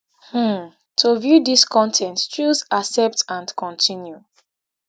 um to view dis con ten t choose accept and continue